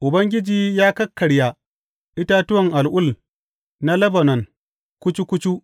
Ubangiji ya kakkarya itatuwan al’ul na Lebanon kucu kucu.